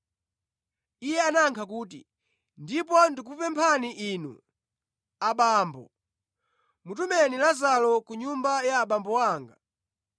“Iye anayankha kuti, ‘Ndipo ndikupemphani inu, abambo, mutumeni Lazaro ku nyumba ya abambo anga,